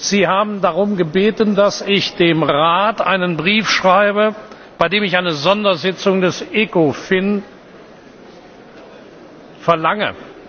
Sie haben darum gebeten, dass ich dem Rat einen Brief schreibe, in dem ich eine Sondersitzung des ECOFIN verlange.